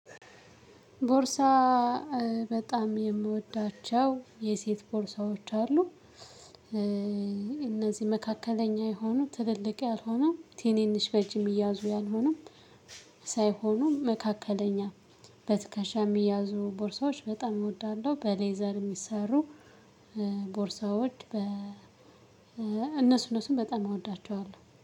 ቦርሳ በጣም የምወዳቸው የሴት ቦርሳዎች አሉ። እነዚህ መካከለኛ የሆኑ ትልልቅ ያልሆኑ ትንንሽ በእጅም የሚያዙ ያልሆኑ መካከለኛ በትከሻ የሚያዙ ቦርሳዎች በጣም እወዳለሁ በሌዘር የሚሰሩ ቦርሳዎች በ እነሱ እነሱን በጣም እወዳቸዋለሁ።